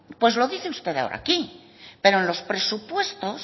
pues lo dice usted ahora aquí pero en los presupuestos